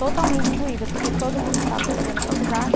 totalmente excluída, porque todo mundo estava fazendo faculdade.